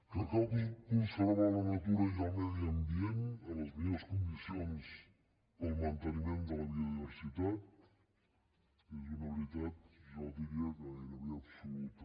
que cal conservar la natura i el medi ambient en les millors condicions per al manteniment de la biodiversitat és una veritat jo diria que gairebé absoluta